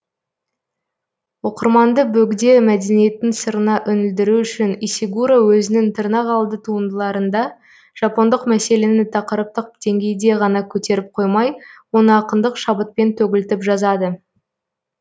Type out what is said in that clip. оқырманды бөгде мәдениеттің сырына үңілдіру үшін исигуро өзінің тырнақалды туындыларында жапондық мәселені тақырыптық деңгейде ғана көтеріп қоймай оны ақындық шабытпен төгілтіп жазады